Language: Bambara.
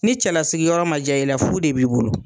Ni cɛlasigi yɔrɔ ma ja i la fu de b'i bolo